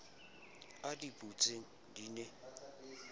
a di butseng di ne